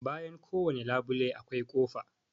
Bayan kowane labule akwai kofa.